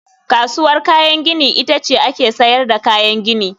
Kasuwar kayan gini ita ce ake sayar da kayan gini